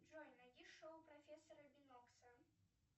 джой найди шоу профессора бинокса